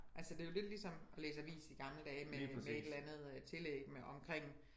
Altså det jo lidt ligesom at læse i avis i gamle dage med med et eller andet øh tillæg omkring